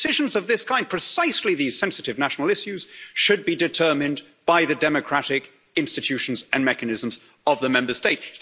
Decisions of this kind, precisely these sensitive national issues, should be determined by the democratic institutions and mechanisms of the Member State.